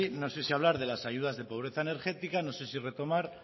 no sé si hablar de las ayudas de pobreza energética no sé si retomar